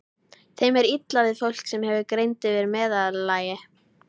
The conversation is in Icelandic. Þeim er illa við fólk, sem hefur greind yfir meðallagi.